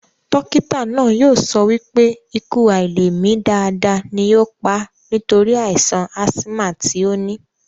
Dókítà náà yóò sọ wípé ikú àilèmi dáadáa ni yóò pà á nítorí àìsàn ásímà tí ó ní